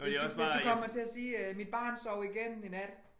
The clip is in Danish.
Hvis du hvis du kommer til at sige øh mit barn sov igennem i nat